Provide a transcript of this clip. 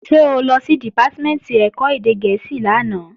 Ṣé o lọ sí Dìpátímẹ̀ntì ẹ̀kọ́ èdè gẹ̀ẹ́sì lánàá?